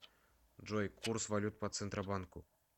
джой курс валют по центробанку